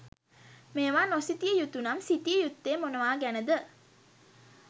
මේවා නොසිතිය යුතු නම්, සිතිය යුත්තේ මොනවා ගැන ද?